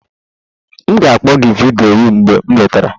M ga-akpọ gị vidiyo mgbe m lọtara.